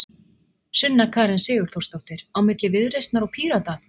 Sunna Karen Sigurþórsdóttir: Á milli Viðreisnar og Pírata?